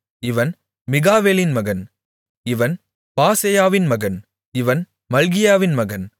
இவன் மிகாவேலின் மகன் இவன் பாசெயாவின் மகன் இவன் மல்கியாவின் மகன்